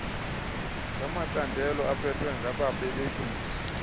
ngamacandelo aphethwe ngababelekisi